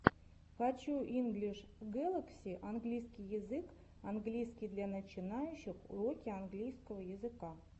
хочу инглиш гэлакси английский язык английский для начинающих уроки английского языка